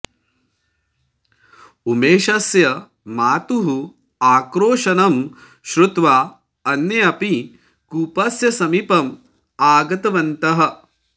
उमेशस्य मातुः आक्रोशनं श्रुत्वा अन्ये अपि कूपस्य समीपम् आगतवन्तः